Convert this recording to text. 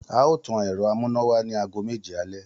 A óò tan èro amúnáwá ní aago méje alé